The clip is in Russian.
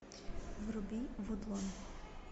вруби вудлон